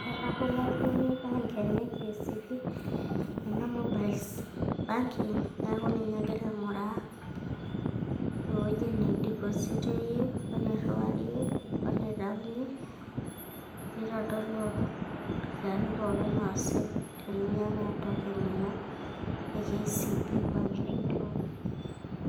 ketabolo oltung'ani kcb,ena mobiles banking, neeku ninye egira aing''uraa. ewueji neidepositie, wenitayunye, weniriwarie, nitodolu isitin pookin neesi teninyiang'u token ino pookin eloon.